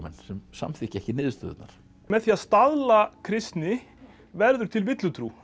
sem samþykkja ekki niðurstöðurnar með því að staðla kristni verður til villutrú